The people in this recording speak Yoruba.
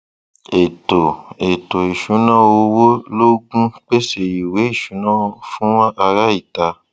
ètò ètò ìṣúná owó lógún pèsè ìwé ìṣúná fún ará ìta